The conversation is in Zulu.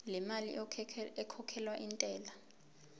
lemali ekhokhelwa intela